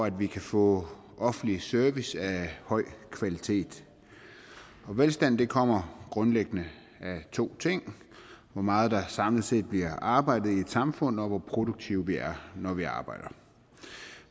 at vi kan få offentlig service af høj kvalitet og velstand kommer grundlæggende af to ting hvor meget der samlet set bliver arbejdet i et samfund og hvor produktive vi er når vi arbejder